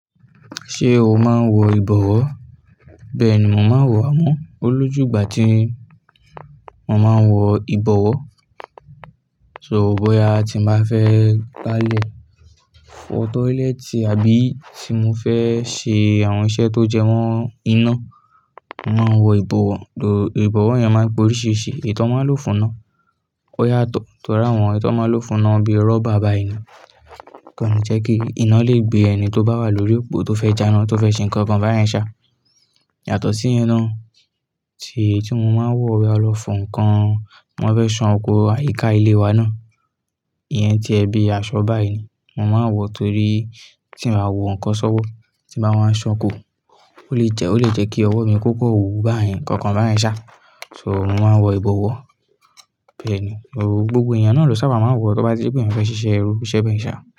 Ṣé o máa ń wọ ìbọwọ́? Bẹ́ẹ̀ ni mò ń máa wọ̀ á mọ́. Ó lójú ìgbà tí mo máa ń wọ ìbọwọ́. So bóya a ti máa fẹ́ gbálẹ̀ fọ toilet àbí tí mo fẹ́ ṣe àwọn iṣẹ́ tó jẹ mọ́ iná, màá wọ ìbọwọ́, ìbọwọ́ yẹn máa gbo oríṣìíríṣìí, ètò ọmọ ló fún iná. Ó yàtọ̀ tó ra àwọn ètò ọmọ ló fún iná bíi rọ́bà báyìí ni, kí ó lè jẹ́ kí iná lè gbé ẹni tó bá wà lórí òpó tó fẹ́ janá, tó fẹ́ ṣe nǹkan kan báyìí ṣá, yàtọ̀ sí iná tí, tí mo máa ń wọ̀ wá lọ fọ ǹkan. Mo máa fẹ́ sàn oko àyíká ilé wa náà. Iyẹn jẹ́ ẹbí aṣọ báyìí ni. Mo máa wọ̀ torí tí màá wọ ǹkan sọ́wọ́, tí bá máa san òkó, ó lè jẹ́, ó lè jẹ́ kí ọwọ́ mi kó kò wù báyìí, ǹkàn kàn bá yẹn ṣá. So mò ń máa ń wọ ìbọwọ́ bẹ́ẹ̀ ni. Gbògbò èèyàn náà ló sábà máa ń wọ̀ tó bá ti rípé ènìyàn fẹ́ ṣiṣẹ́ irú iṣẹ́ bẹ́ẹ̀ ṣá.